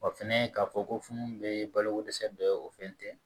Wa fɛnɛ k'a fɔ ko funu bɛ balo ko dɛsɛ dɔ ye o fɛn tɛ